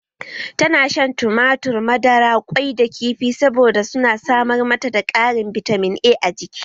Ta na shan tumatur, madara, ƙwai da kifi saboda su na samar mata da Karin bitamin A a jiki